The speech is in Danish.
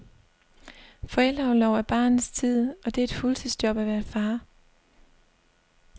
Forældreorlov er barnets tid, og det er et fuldtidsjob at være far.